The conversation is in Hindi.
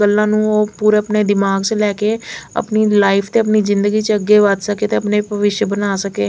पूरे अपने दिमाग से लेके अपनी लाइफ के भविष्य बना सके।